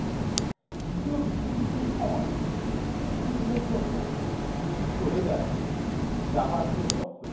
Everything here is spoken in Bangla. দ্বিতীয় বিশ্বযুদ্ধের সময় কিছুদিনের জন্য দীপ্তি চলে যায় জাপানিদের দখলে